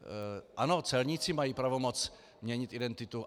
Ano, celníci mají pravomoc měnit identitu.